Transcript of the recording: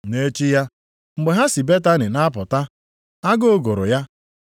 Nʼechi ya, mgbe ha si Betani na-apụta, agụụ gụrụ ya.